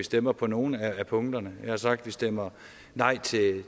stemmer på nogle af punkterne jeg har sagt vi stemmer nej til